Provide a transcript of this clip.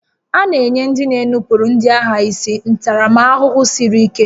A na-enye ndị na-enupụrụ ndị agha isi ntaramahụhụ siri ike